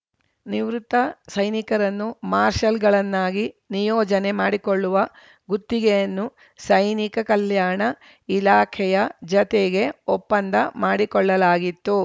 ನಿವೃತ್ತ ಸೈನಿಕರನ್ನು ಮಾರ್ಷಲ್‌ಗಳನ್ನಾಗಿ ನಿಯೋಜನೆ ಮಾಡಿಕೊಳ್ಳುವ ಗುತ್ತಿಗೆಯನ್ನು ಸೈನಿಕ ಕಲ್ಯಾಣ ಇಲಾಖೆಯ ಜತೆಗೆ ಒಪ್ಪಂದ ಮಾಡಿಕೊಳ್ಳಲಾಗಿತ್ತು